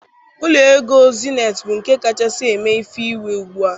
Ụlọ égo Zenith bú nké kachasị èmé ìfè ìwé ùgbúà